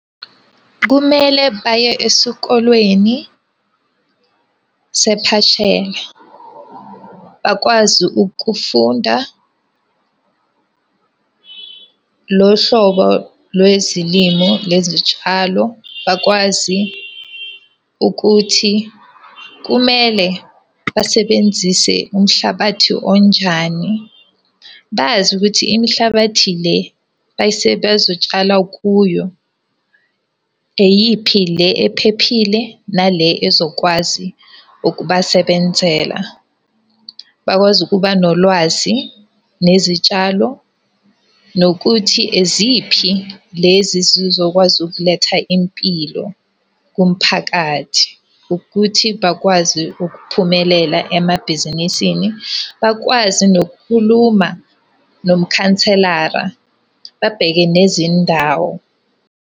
Kumele baye esikolweni . Bakwazi ukufunda lo hlobo lwezilimo lezi tshalo, bakwazi ukuthi kumele basebenzise umhlabathi onjani. Bazi ukuthi imihlabathi le abazotshala kuyo eyiphi le ephephile nale ezokwazi ukubasebenzela. Bakwazi ukuba nolwazi nezitshalo, nokuthi eziphi lezi ezizokwazi ukuletha impilo kumphakathi. Ukuthi bakwazi ukuphumelela emabhizinisini, bakwazi nokukhuluma nomkhanselara, babheke nezindawo.